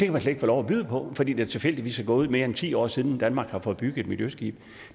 kan få lov at byde på fordi der tilfældigvis er gået mere end ti år siden danmark har fået bygget et miljøskib